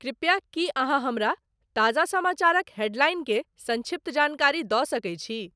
कृपया की अहाँहमरा ताजा समाचारक हेडलाइन के संक्षिप्त जानकारी द सके छी